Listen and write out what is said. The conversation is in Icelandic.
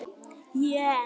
Er mjög blíð og góð.